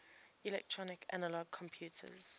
electronic analog computers